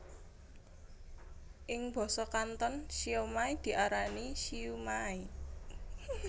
Ing basa Kanton siomai diarani siu maai